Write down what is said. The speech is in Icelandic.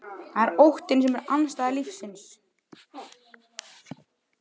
Það er óttinn sem er andstæða lífsins.